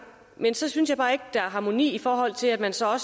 men så synes jeg bare ikke der er harmoni i forhold til at man står